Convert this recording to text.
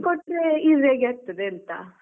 ಅವ್ರಿಗೆ ಕೊಟ್ರೆ easy ಆಗಿ ಆಗ್ತದೆ ಅಂತ.